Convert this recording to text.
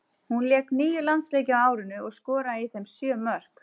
Hún lék níu landsleiki á árinu og skoraði í þeim sjö mörk.